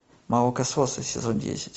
молокососы сезон десять